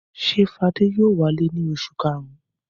Ṣé Fadé yóò wálé ní oṣù karùn-ún?